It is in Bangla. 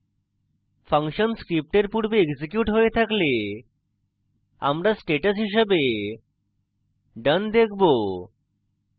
ফাংশন script পূর্বে এক্সিকিউট হয়ে থাকলে আমরা status হিসাবে done দেখবো